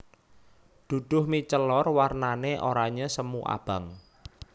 Duduh mie celor warnane oranye semu abang